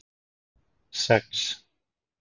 sex